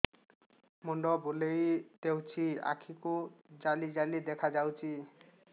ମୁଣ୍ଡ ବୁଲେଇ ଦେଉଛି ଆଖି କୁ ଜାଲି ଜାଲି ଦେଖା ଯାଉଛି